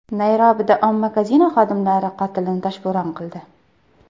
Nayrobida omma kazino xodimlari qotilini toshbo‘ron qildi.